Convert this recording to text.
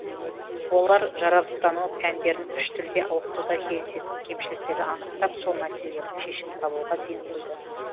олар жаратылыстану пәндерін үш тілде оқытуда кездесетін кемшіліктерді анықтап сол мәселелердің шешімін табуға ден қойды